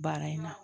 Baara in na